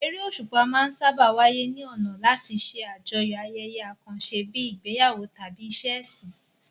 Eré òṣùpá máa ń sáábà wáyé ní ọ̀nà láti ṣe àjọyọ̀ ayẹyẹ àkànṣe bíi ìgbéyàwó tàbí ìṣe ẹ̀sìn.